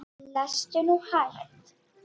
Lestu nú hægt!